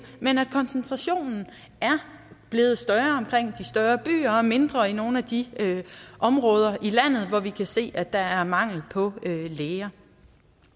men at koncentrationen er blevet større omkring de større byer og mindre i nogle af de områder i landet hvor vi kan se at der er mangel på læger